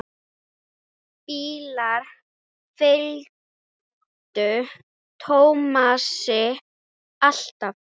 Bílar fylgdu Tómasi alltaf.